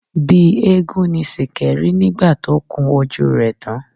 Bí eégún ni Sìkẹ́ rí nígbà tó kún ojú rẹ tán.